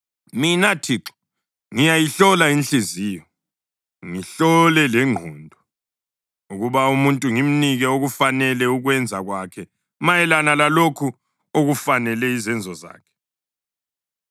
“Mina Thixo ngiyayihlola inhliziyo ngihlole lengqondo, ukuba umuntu ngimnike okufanele ukwenza kwakhe mayelana lalokho okufanele izenzo zakhe.”